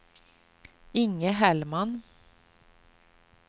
Inge Hellman